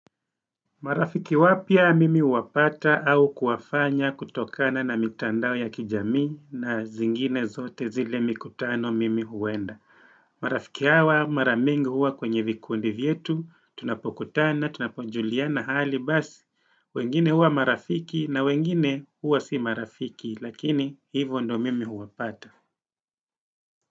Marafiki wapya mimi uwapata au kuwafanya kutokana na mitandao ya kijamii na zingine zote zile mikutano mimi huenda. Marafiki hawa maramingi huwa kwenye vikundi vyetu, tunapokutana, tunaponjuliana hali basi. Wengine huwa marafiki na wengine huwa si marafiki lakini hivyo ndo mimi huwapata.